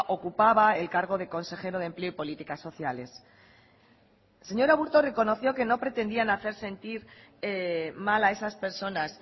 ocupaba el cargo de consejero de empleo y políticas sociales el señor aburto reconoció que no pretendían hacer sentir mal a esas personas